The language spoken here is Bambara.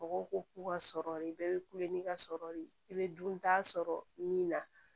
Mɔgɔw ko k'u ka sɔrɔ bɛɛ bɛ kule ni ka sɔrɔ de i bɛ dunta sɔrɔ min na